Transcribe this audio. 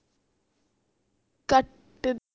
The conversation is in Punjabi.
cut